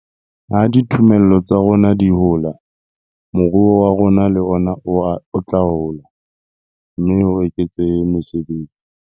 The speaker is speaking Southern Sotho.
Ha dithomello tsa rona di hola, moruo wa rona le ona o tla hola, mme ho eketsehe mesebetsi.